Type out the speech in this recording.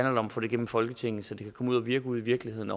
om at få det gennem folketinget så det kan komme ud at virke ude i virkeligheden